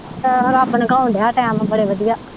ਆਹੋ ਰੱਬ ਨੰਗਾਉਣ ਦਿਆ ਟਾਇਮ ਬੜੇ ਵਧੀਆ।